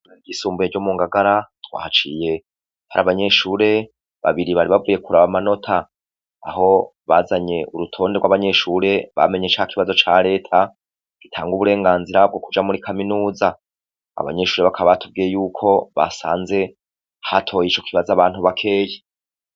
Kw'ishuri ryisumbuye ryo mungagara twahaciye har'abanyeshure babiri bari bavuye kuraba amanota. Aho bazanye urutonde gw'abanyeshure bamenye cakibazo ca reta gitanga uburenganzira bwo kuja muri kaminuza. Abanyeshure bakaba batubwiye yuko basanze hatoye icokibazo abantu bakeya.